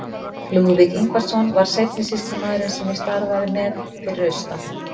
Lúðvík Ingvarsson var seinni sýslumaðurinn sem ég starfaði með fyrir austan.